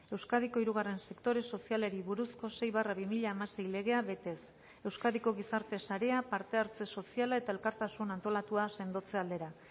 euskadiko hirugarren sektore sozialari buruzko sei barra bi mila hamasei legea betez euskadiko gizarte sarea parte hartze soziala eta elkartasun antolatua sendotze aldera